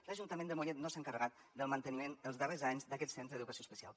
l’ajuntament de mollet no s’ha encarregat del manteniment els darrers anys d’aquest centre d’educació especial